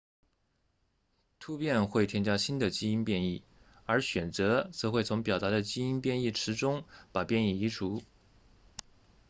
突变会添加新的基因变异而选择则会从表达的基因变异池中把变异移除